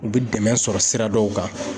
U bɛ dɛmɛ sɔrɔ sira dɔw kan